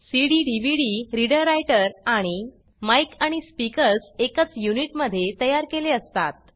CD DVD reader writer आणि mic आणि speakers एकच युनिट मध्ये तयार केले असतात